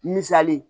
Misali